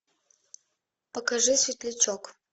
покажи светлячок